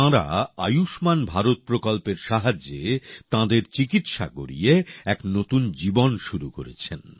তাঁরা আয়ুষ্মান ভারত প্রকল্পের সাহায্যে চিকিত্সা করিয়ে একনতুন জীবন শুরু করেছেন